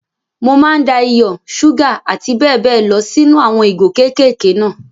Mo máa n da iyọ̀, ṣúgà àti bẹ́ẹ̀ bẹ́ẹ̀ lọ sí nú àwọn ìgò kékèké náà.